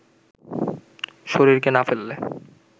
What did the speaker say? শরীরকে না ফেললে